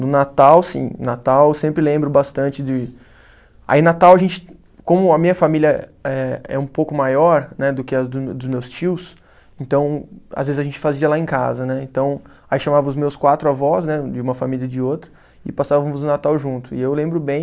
No Natal, sim, Natal eu sempre lembro bastante de. Aí Natal a gente, como a minha família é, é um pouco maior, né, do que a do dos meus tios, então, às vezes a gente fazia lá em casa, né, então, aí chamava os meus quatro avós, né, de uma família e de outra, e passávamos o Natal junto, e eu lembro bem